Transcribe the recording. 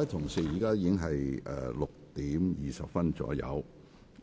各位同事，現在是6時20分左右，